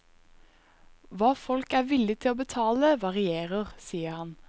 Hva folk er villig til å betale varierer, sier han.